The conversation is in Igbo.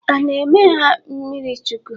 A ana-eme ha mmirichukwu.?